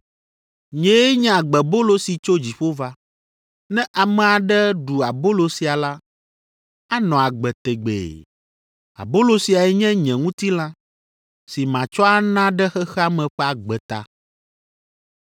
Nyee nye agbebolo si tso dziƒo va. Ne ame aɖe ɖu abolo sia la, anɔ agbe tegbee. Abolo siae nye nye ŋutilã si matsɔ ana ɖe xexea me ƒe agbe ta.”